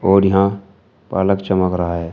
और यहां पालक चमक रहा है।